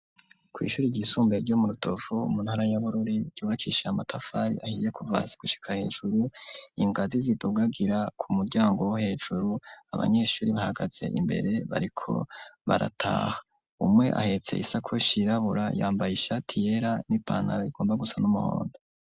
Kw'ishure ryisumbuye ryo mu Rutovu muntara ya Bururi, ryubakishije amatafari ahiye kuva hasi gushika hejuru, ingazi zidugagira kumuryango wo hejuru, abanyeshure bahagaze imbere bariko barataha, umwe ahetse isakoshi yirabura yambaye ishati yera n'ipantaro igomba gusa n'umuhondo